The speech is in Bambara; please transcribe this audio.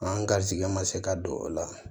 An garizigɛ ma se ka don o la